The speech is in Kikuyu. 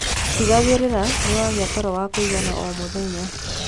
Tigagirira niwagia toro wa kuigana o mũthenya